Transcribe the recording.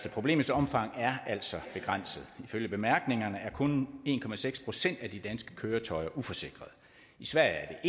at problemets omfang altså begrænset ifølge bemærkningerne er kun en procent af de danske køretøjer uforsikrede i sverige er